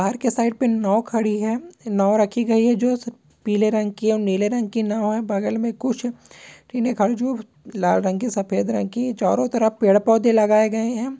Park के side पे नाव खड़ी है नाव रखी गयी है जो पीले रंग है और नीले रंग नाव है बगल में कुछ लाल रंग की सफ़ेद रंग की चारों तरफ पेड़-पौधे लगाए गए है।